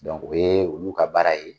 Dɔnku o ye u ka baara ye.